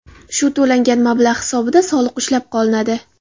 Shu to‘langan mablag‘ hisobida soliq ushlab qolinadi.